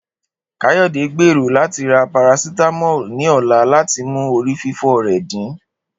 Kayode gbero lati ra paracetamol ni ọla lati mu orififo rẹ din.